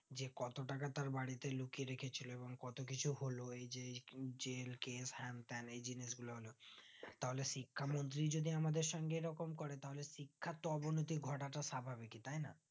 যে কত টাকাতার বাড়িতে লুকিয়ে রেখেছিলো এবং কত কিছু হলো এই যে এই জেল case. হ্যান-ত্যান এই জিনিস গুলো হলো তাহলে শিক্ষামন্ত্রী যদি আমাদের সঙ্গে এইরকম করে তাহলে শিক্ষার তো অবনতি ঘটাতো স্বাভাবিকই তাই না